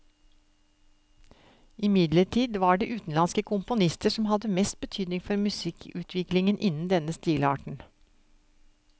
Imidlertid var det utenlandske komponister som hadde mest betydning for musikkutviklingen innen denne stilarten.